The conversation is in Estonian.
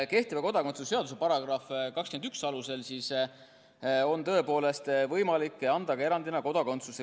Kehtiva kodakondsuse seaduse § 21 alusel on tõepoolest võimalik anda ka erandina kodakondsust.